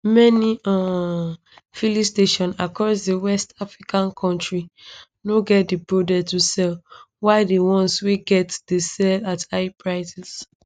many um filling stations across di west african kontri no get di product to sell while di ones wey get dey sell at higher prices